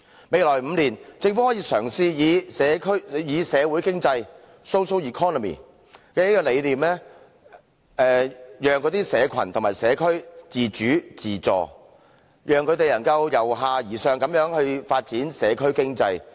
未來5年，政府可嘗試以社會經濟的理念，讓社群和社區自主、自助，讓他們能由下而上發展社區經濟。